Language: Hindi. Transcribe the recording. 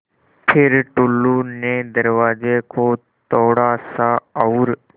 फ़िर टुल्लु ने दरवाज़े को थोड़ा सा और